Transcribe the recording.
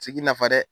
nafa dɛ